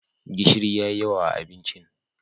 gishiri ya yi yawa a abinci